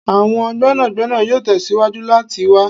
Awọn gbénàgbénà yoo tẹsiwaju lati wa'